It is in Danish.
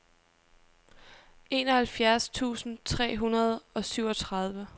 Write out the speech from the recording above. enoghalvfjerds tusind tre hundrede og syvogtredive